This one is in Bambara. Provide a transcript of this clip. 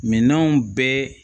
Minanw bɛɛ